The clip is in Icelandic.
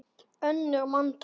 önnur manntöl